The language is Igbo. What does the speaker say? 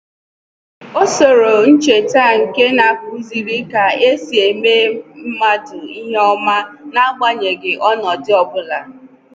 O soro ncheta nke na-akụziri ka e si emeso mmadụ ìhè oma n’agbanyeghị ọnọdụ ọbụla